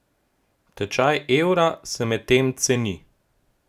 Tečaj evra se medtem ceni.